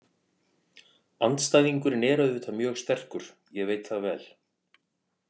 Andstæðingurinn er auðvitað mjög sterkur, ég veit það vel.